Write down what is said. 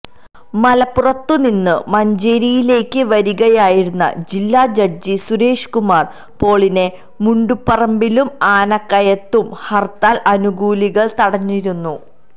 മലപ്പുറത്തു നിന്ന് മഞ്ചേരിയിലേക്ക് വരികയായിരുന്ന ജില്ലാ ജഡ്ജി സുരേഷ്കുമാര് പോളിനെ മുണ്ടുപറമ്പിലും ആനക്കയത്തും ഹര്ത്താല് അനുകൂലികള് തടഞ്ഞിരുന്നു